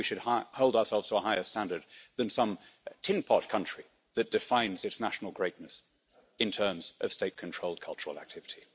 Surely we should hold ourselves to a higher standard than some tin pot country that defines its national greatness in terms of state controlled cultural activity?